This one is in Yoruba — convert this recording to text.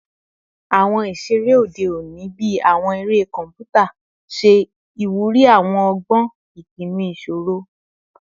Awọn iṣere ode oni bii awọn ere kọnputa ṣe iwuri awọn ọgbọn ipinnu iṣoro